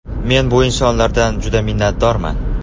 Men bu insonlardan juda minnatdorman.